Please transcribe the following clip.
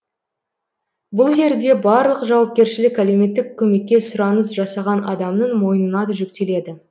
бұл жерде барлық жауапкершілік әлеуметтік көмекке сұраныс жасаған адамның мойнына жүктеледі